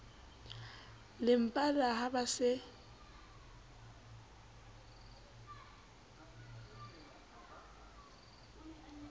le pala ha ba se